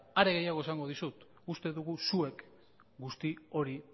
are gehiago esango dizut uste dugu zuek guzti hori